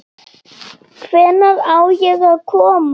Hvenær á ég að koma?